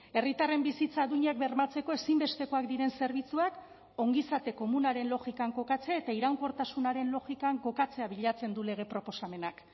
herritarren bizitza duinak bermatzeko ezinbestekoak diren zerbitzuak ongizate komunaren logikan kokatzea eta iraunkortasunaren logikan kokatzea bilatzen du lege proposamenak